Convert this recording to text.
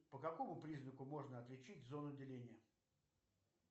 по какому признаку можно отличить зону деления